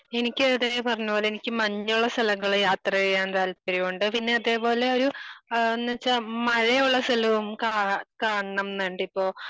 എനിക്കും അത് തന്നെ പറഞ്ഞ പോലെ എനിക്ക് മഞ്ഞുള്ള സ്ഥലങ്ങളിൽ യാത്ര ചെയ്യാൻ താല്പര്യമുണ്ട്.പിന്നെ അതേപോലെ ഒരു ഏഹ് എന്ന് വെച്ചാൽ മഴയുള്ള സ്ഥലവും കാണാ കാണണം ന്നുണ്ട് ഇപ്പൊ